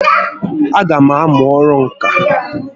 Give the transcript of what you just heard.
A gam amụ ọrụ ǹkà